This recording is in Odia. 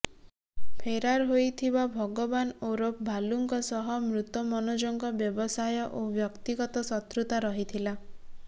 ଫେରାର୍ ହୋଇଥିବା ଭଗବାନ ଓରଫ୍ ଭାଲୁଙ୍କ ସହ ମୃତ ମନୋଜଙ୍କ ବ୍ୟବସାୟ ଓ ବ୍ୟକ୍ତିଗତ ଶତ୍ରୁତା ରହିଥିଲା